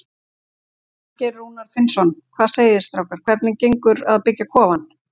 Þorgeir Rúnar Finnsson: Hvað segið þið strákar, hvernig gengur að byggja kofann?